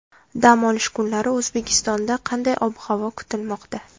Dam olish kunlari O‘zbekistonda qanday ob-havo kutilmoqda?